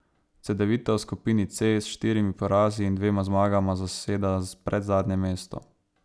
Cedevita v skupini C s štirimi porazi in dvema zmagama zaseda predzadnje mesto.